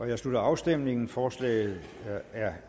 jeg slutter afstemningen forslaget er